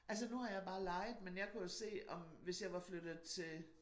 Altså nu har jeg bare lejet men jeg kan jo se om hvis jeg var flyttet til